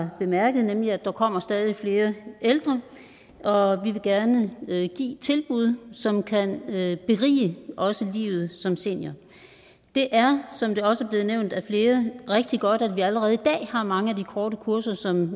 har bemærket nemlig at der kommer stadig flere ældre og vi vil gerne give tilbud som kan berige også livet som senior det er som der også er blevet nævnt af flere rigtig godt at vi allerede i dag har mange af de korte kurser som